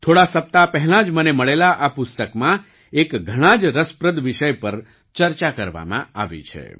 થોડા સપ્તાહ પહેલાં જ મને મળેલા આ પુસ્તકમાં એક ઘણાં જ રસપ્રદ વિષય પર ચર્ચા કરવામાં આવી છે